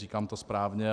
Říkám to správně?